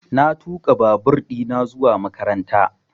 Na tuƙa babur ɗina zuwa makaranta